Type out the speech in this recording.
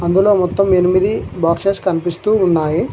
ఇందులో మొత్తం ఎనిమిది బాక్సెస్ కనిపిస్తూ ఉన్నాయి.